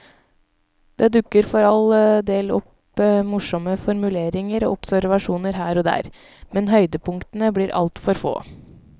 Det dukker for all del opp morsomme formuleringer og observasjoner her og der, men høydepunktene blir altfor få.